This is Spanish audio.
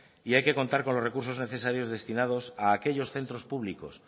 y hay que contar con los recursos necesarios destinados a aquellos centros públicos